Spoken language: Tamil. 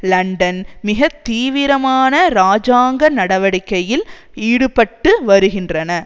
இலண்டன் மிக தீவிரமான இராஜாங்க நடவடிக்கையில் ஈடுபட்டு வருகின்றன